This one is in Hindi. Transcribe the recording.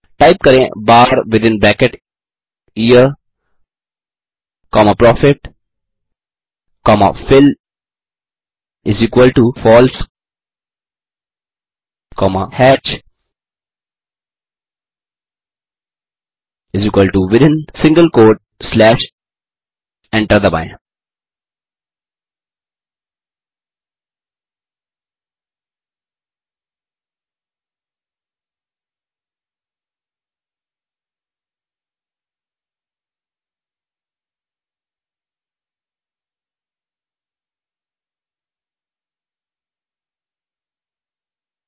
टाइप करें bar within bracket year comma profit comma fillFalse comma hatch within single quote slash enter दबाएँ